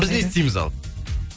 біз не істейміз ал